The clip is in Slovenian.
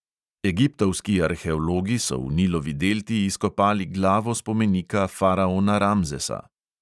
Egiptovski arheologi so v nilovi delti izkopali glavo spomenika faraona ramzesa.